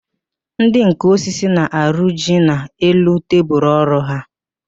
Ndị nká osisi na-arọji n'elu tebulu ọrụ ha